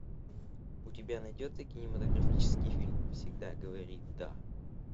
у тебя найдется кинематографический фильм всегда говори да